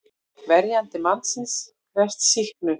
Verjandi mannsins krefst sýknu.